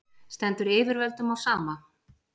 stendur yfirvöldum á sama